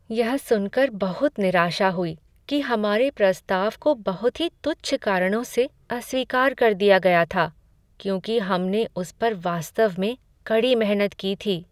यह सुनकर बहुत निराशा हुई कि हमारे प्रस्ताव को बहुत ही तुच्छ कारणों से अस्वीकार कर दिया गया था क्योंकि हमने उस पर वास्तव में कड़ी मेहनत की थी।